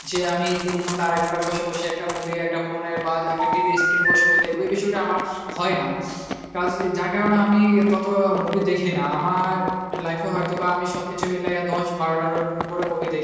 যে আমি তিন ঘন্টা আড়াই ঘন্টা বসে বসে একটা movie একটা phone এ বা একটা TVscene এ বসে বসে দেখবো এই বিষয়টা আমার হয় না কেননা যার কারণে আমি ততো movie দেখি না, আমার life এ হয়তো বা আমি সবকিছুই মিলাইয়া দশবারোটা উপরে movie দেখেছি।